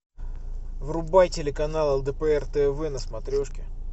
врубай телеканал лдпр тв на смотрешке